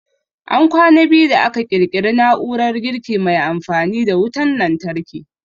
An kwana biyu da aka ƙirƙiri na'urar girki mai amfani da wutan lantarki